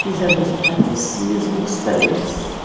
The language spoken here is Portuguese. Fizemos o catecismo, os três.